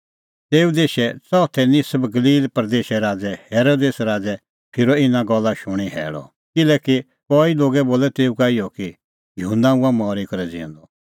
तेऊ देशे च़ौथै निसब गलील प्रदेसे राज़ै हेरोदेस राज़ै फिरअ इना गल्ला शूणीं हैल़अ किल्हैकि कई लोगै बोलअ तेऊ का इहअ कि युहन्ना हुअ मरी करै ज़िऊंदअ